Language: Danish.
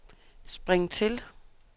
spring til